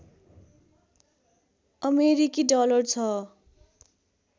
अमेरिकी डलर छ